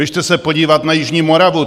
Běžte se podívat na jižní Moravu.